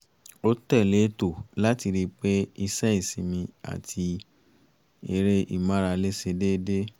ó tẹ̀lé ètò láti ri pé iṣẹ́ ìsinmi àti eré ìmárale ṣe dédé